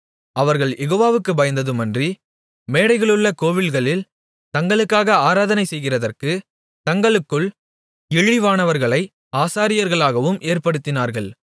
அவர்கள் யெகோவாவுக்குப் பயந்ததுமன்றி மேடைகளிலுள்ள கோவில்களில் தங்களுக்காக ஆராதனை செய்கிறதற்கு தங்களுக்குள் இழிவானவர்களை ஆசாரியர்களாகவும் ஏற்படுத்தினார்கள்